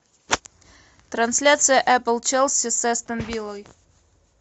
трансляция апл челси с астон виллой